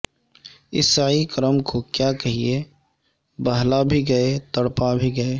اس سعی کرم کو کیا کہیے بہلا بھی گئے تڑپا بھی گئے